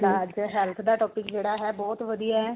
ਸਾਡਾ ਅੱਜ ਕਲ health ਦਾ topic ਜਿਹੜਾ ਹੈ ਬਹੁਤ ਵਧੀਆ